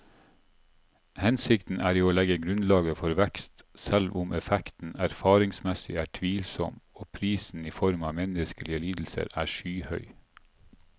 Hensikten er jo å legge grunnlaget for vekst, selv om effekten erfaringsmessig er tvilsom og prisen i form av menneskelige lidelser er skyhøy.